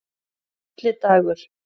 Atli Dagur.